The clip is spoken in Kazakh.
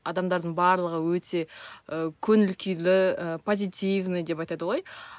адамдардың барлығы өте ы көңіл күйлі ы позитивный деп айтады ғой